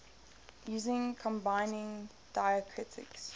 using combining diacritics